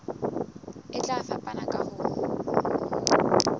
e tla fapana ka ho